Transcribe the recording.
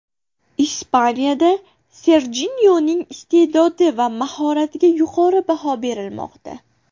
Ispaniyada Serjinyoning iste’dodi va mahoratiga yuqori baho berilmoqda.